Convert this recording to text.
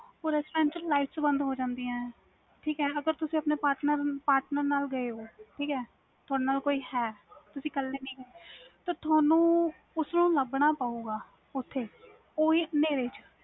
ਉਹ restaurants ਵਿਚ ਬੰਦ ਹੋ ਜਾਂਦੀਆਂ ਨੇ ਠੀਕ ਅਗਰ ਤੁਸੀ ਆਪਣੇ patner ਨਾਲ ਗਏ ਹੋ ਠੀਕ ਹੈ ਤੁਹਾਡੇ ਕੋਲ ਕੋਈ ਹੈ ਤੁਸੀ ਇਕਲੇ ਨਹੀਂ ਗੇ ਤੇ ਤੁਹਾਨੂੰ ਉਸਨੂੰ ਲਬਾਣਾ ਪਾਵੇ ਗਾ ਉਹ ਵੀ ਹਨੇਰੇ ਚ